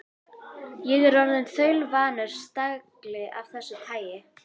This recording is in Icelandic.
Ég er orðinn þaulvanur stagli af þessu tagi.